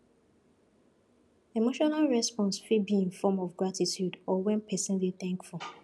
emotional response fit be in form of gratitude or when person dey thankful